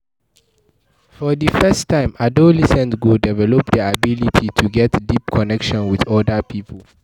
For di first time, adolescent go develop their ability to get deep connection with oda pipo